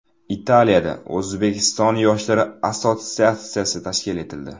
Italiyada O‘zbekiston yoshlari assotsiatsiyasi tashkil etildi.